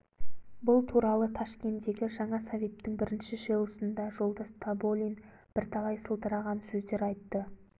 бұл туралы ташкендегі жаңа советтің бірінші жиылысында жолдас тоболин бірталай сылдыраған сөздер айтты